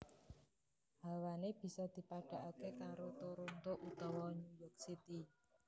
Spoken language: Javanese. Hawané bisa dipadhakaké karo Toronto utawa New York City